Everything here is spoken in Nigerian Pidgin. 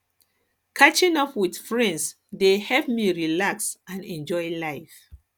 catching up with friends dey help me relax help me relax and enjoy life